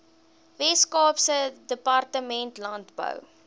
weskaapse departement landbou